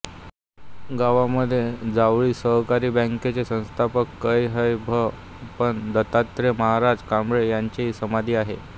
गावामधे जावळी सहकारी बॅंकेचे संस्थापक कै ह भ प दत्तात्रय महाराज कळंबे यांची समाधी आहे